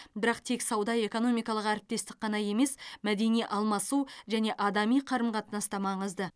бірақ тек сауда экономикалық әріптестік қана емес мәдени алмасу және адами қарым қатынас та маңызды